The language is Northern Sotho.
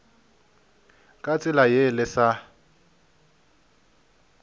ka tsela ye le sa